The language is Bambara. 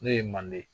N'o ye manden ye